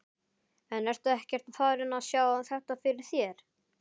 En ertu ekkert farinn að sjá þetta fyrir þér?